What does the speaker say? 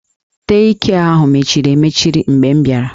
Dei kịe ahụ mechiri emechi mgbe m bịara